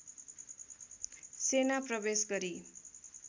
सेना प्रवेश गरी